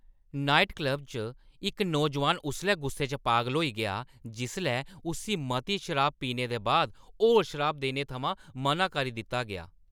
Night club च इक्क नौजोआन उसलै गुस्से च पागल होई गेआ जिसलै उस्सी मती शराब पीने दे बाद होर शराब देने थमां मना करी दित्ता गेआ।